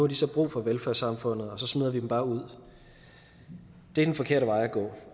de så brug for velfærdssamfundet og så smider vi dem bare ud det er den forkerte vej at gå